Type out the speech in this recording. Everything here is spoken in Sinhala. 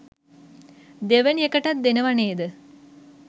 දෙවෙනි එකටත් දෙනව නේද